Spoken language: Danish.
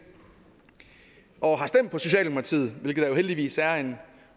og har stemt på socialdemokratiet hvilket der jo heldigvis er en